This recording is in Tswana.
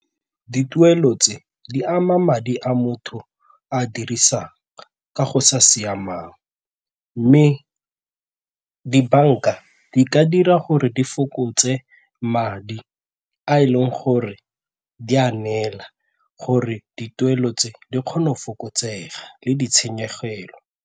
Dituelo tse di ama madi a motho a a dirisang ka go sa siamang mme dibanka di ka ra gore di fokotse madi a e leng gore di a neela gore dituelo tse di kgone go fokotsega le ditshenyegelo.